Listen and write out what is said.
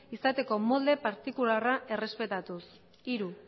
izateko molde partikularra errespetatuz hiru